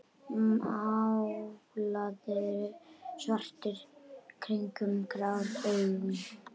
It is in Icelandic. Málaður svartur kringum grá augun.